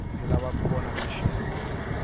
ndzi lava kuya vona maxelo